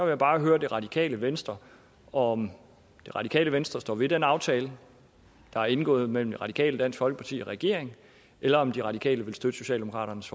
jeg bare høre det radikale venstre om det radikale venstre står ved den aftale der er indgået mellem de radikale dansk folkeparti og regeringen eller om de radikale vil støtte socialdemokratiets